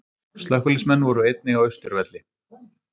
Slökkviliðsmenn voru einnig á Austurvelli